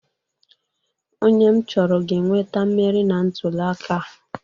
Onye m chọrọ ga-enweta mmeri na ntụliaka a.